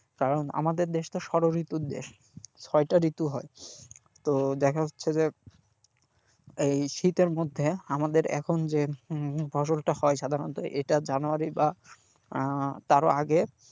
কারণ আমাদের দেশ তো ষড় ঋতুর দেশ ছয়টা ঋতু হয় তো দেখা যাচ্ছে যে এই শীতের মধ্যে আমাদের এখন যে হম ফসলটা হয় সাধারনত এটা জানুয়ারি বা আহ তারও আগে,